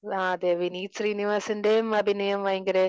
ആഹാ അതെ വിനീത് ശ്രീനിവാസൻറേം അഭിനയം ഭയങ്കര